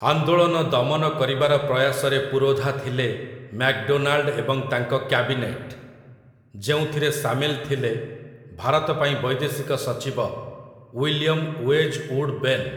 ଆନ୍ଦୋଳନ ଦମନ କରିବାର ପ୍ରୟାସରେ ପୁରୋଧା ଥିଲେ ମ୍ୟାକ୍‌ଡୋନାଲ୍‌ଡ ଏବଂ ତାଙ୍କ କ୍ୟାବିନେଟ୍, ଯେଉଁଥିରେ ସାମିଲ ଥିଲେ ଭାରତ ପାଇଁ ବୈଦେଶିକ ସଚିବ, ୱିଲିୟମ୍ ୱେଜ୍ଉଡ୍ ବେନ୍ ।